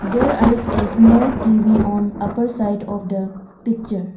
there a small T_V on upper side of the picture.